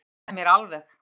Þú bjargaðir mér alveg!